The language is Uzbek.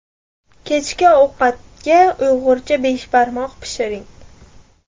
Kechki ovqatga uyg‘urcha beshbarmoq pishiring.